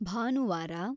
ಭಾನುವಾರ